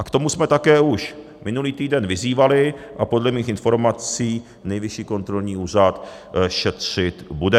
A k tomu jsme také už minulý týden vyzývali a podle mých informací Nejvyšší kontrolní úřad šetřit bude.